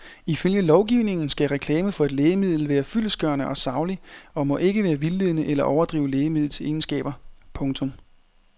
Ifølge lovgivningen skal reklame for et lægemiddel være fyldestgørende og saglig og må ikke være vildledende eller overdrive lægemidlets egenskaber. punktum